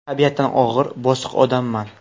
Tabiatan og‘ir, bosiq odamman.